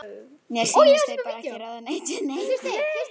Mér sýnist þeir bara ekki ráða neitt við neitt.